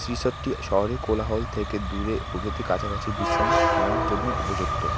ত্রিশার্টটি শহরের কোলাহল থেকে দূরে প্রকৃতির কাছাকাছি বিশ্রাম নেওয়ার জন্য উপযুক্ত।